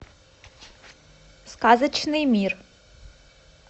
сказочный мир